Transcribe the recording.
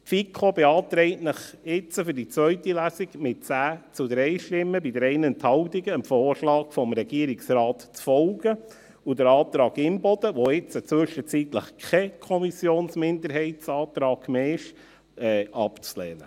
Die FiKo beantragt Ihnen jetzt in der zweiten Lesung mit 10 zu 3 Stimmen bei 3 Enthaltungen, dem Vorschlag des Regierungsrates zu folgen und den Antrag Imboden, der nun zwischenzeitlich kein Kommissionsminderheitsantrag mehr ist, abzulehnen.